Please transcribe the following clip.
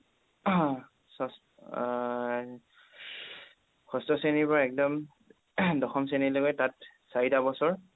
এৰ ষষ্ঠ শ্ৰেণীৰ পৰা একদম দশম শ্ৰেণীলৈকে তাত চাৰিটা বছৰ